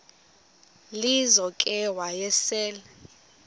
lizo ke wayesel